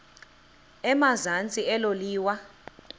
emazantsi elo liwa